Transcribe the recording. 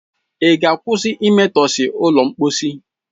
Ị ga-akwụsị imetọsị ụlọ mposi?